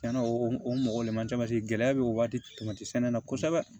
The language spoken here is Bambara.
Cɛnna o mɔgɔ le man ca gɛlɛya bɛ o waati sɛnɛ na kosɛbɛ